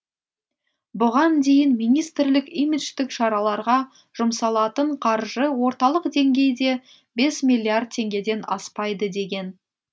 бұған дейін министрлік имидждік шараларға жұмсалатын қаржы орталық деңгейде бес миллиард теңгеден аспайды деген